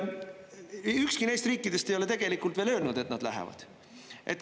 Ükski neist riikidest ei ole tegelikult veel öelnud, et nad lähevad.